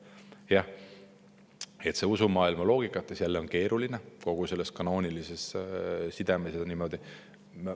Jah, usumaailma loogikas on see keeruline, kanoonilises sidemes ja niimoodi.